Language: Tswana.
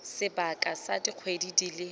sebaka sa dikgwedi di le